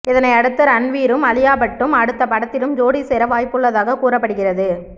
இதையடுத்து ரன்வீரும் அலியாபட்டும் அடுத்த படத்திலும் ஜோடி சேர வாய்ப்புள்ளதாகக் கூறப்படுகிறது